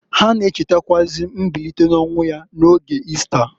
Ha na-echetakwụazị mbilite n'ọnwụ ya n'oge Ista.